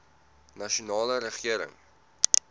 nasionale regering